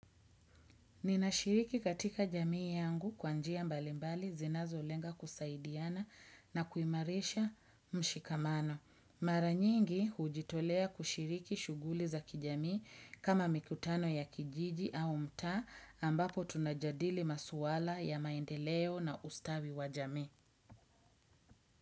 Ninashiriki katika jamii yangu kwa njia mbalimbali zinazolenga kusaidiana na kuimarisha mshikamano. Mara nyingi hujitolea kushiriki shughuli za kijamii kama mikutano ya kijiji au mtaa ambapo tunajadili maswala ya maendeleo na ustawi wa jamii.